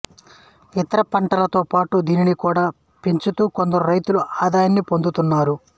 ఇతర పంటలతో పాటు దీనిని కూడా పెంచుతూ కొందరు రైతులు ఆదాయాన్ని పొందుతు న్నారు